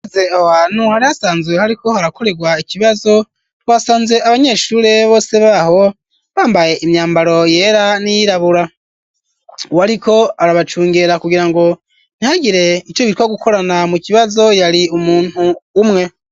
Hari hasanzwe hariko harakoregwa ikibazo ,wasanze abanyeshure bose baho bambaye imyambaro yera ,n'iyirabura ,uwariko arabacungera kugira ngo ntihagire ico bitwa gukorana mu kibazo ,yari umuntu umwe.